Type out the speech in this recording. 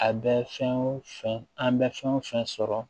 A bɛ fɛn o fɛn an bɛ fɛn o fɛn sɔrɔ